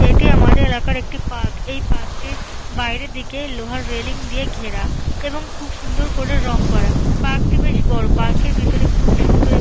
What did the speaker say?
এটি আমাদের এলাকার একটি পার্ক । এই পার্কটির বাইরের দিকে লোহার রেলিং দিয়ে ঘেরা এবং খুব সুন্দর করে রং করা। পার্কটি বেশ বড়। পার্কের ভেতরে খুব ই সুন্দর এক --